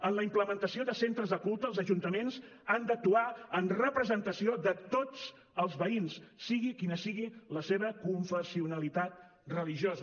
en la implementació de centres de culte els ajuntaments han d’actuar en representació de tots els veïns sigui quina sigui la seva confessionalitat religiosa